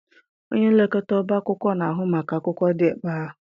Onye nlekọta ọba akwụkwọ na-ahụ maka akwụkwọ dị ebe ahụ.